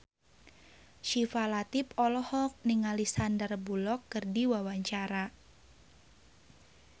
Syifa Latief olohok ningali Sandar Bullock keur diwawancara